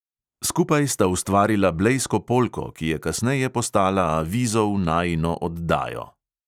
Skupaj sta ustvarila blejsko polko, ki je kasneje postala avizo v najino oddajo.